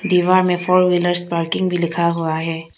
दीवार में four wheelers parking भी लिखा हुआ है।